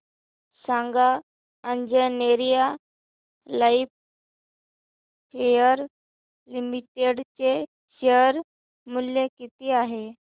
सांगा Anjaneya lifecare limited चे share मूल्य किती आहे